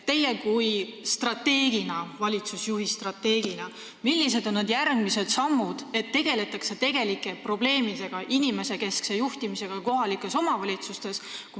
Millised on teie kui valitsusjuhi järgmised strateegilised sammud, et kohalikes omavalitsustes tegeldaks tegelike probleemide ja inimesekeskse juhtimisega?